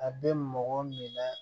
A bɛ mɔgɔ minɛ